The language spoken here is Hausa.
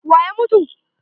Wa ya mutu?